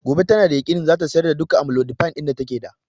Gobe tana da yakinin cewan zata sayar da duka amlodipine ɗin da take da